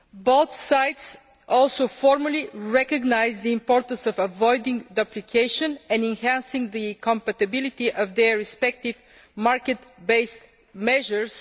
Both sides also formally recognise the importance of avoiding duplication and enhancing the compatibility of their respective market based measures.